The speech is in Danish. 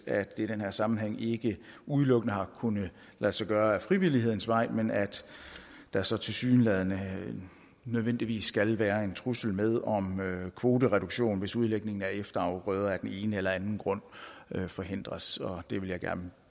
at det i den her sammenhæng ikke udelukkende har kunnet lade sig gøre ad frivillighedens vej men at der så tilsyneladende nødvendigvis skal være en trussel med om kvotereduktion hvis udlægningen af efterafgrøder af den ene eller anden grund forhindres og det vil jeg gerne